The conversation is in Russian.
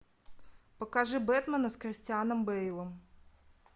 покажи бэтмена с кристианом бейлом